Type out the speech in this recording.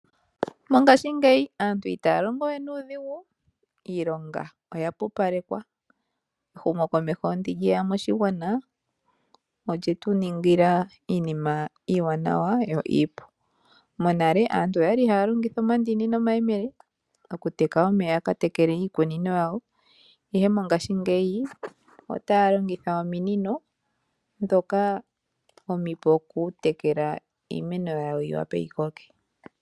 Mongashingeyi aantu itaya longo we nuudhigu. Iilonga oya pupalekwa. Ehumokomeho ndi lye ya moshigwana olye tu ningila iinima iiwanawa yo iipu. Monale aantu oyali haya longitha omandini nomayemele okuteka omeya ya ka tekele iikunino yawo, ihe mongashingeyi otaya longitha ominino ndhoka omipu okutekela iimeno yawo yi wape yi koke.